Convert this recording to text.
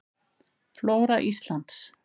Flóra Íslands.